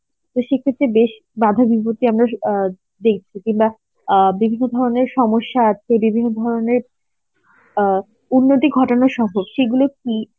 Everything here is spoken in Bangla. তোর সেক্ষেত্রে বেশ বাধা বিপত্তি আমরা অ্যাঁ দেখছি কিংবা অ্যাঁ বিভিন্ন ধরনের সমস্যা আসছে বিভিন্ন ধরনের অ্যাঁ উন্নতি ঘটানো সহ সেগুলো কি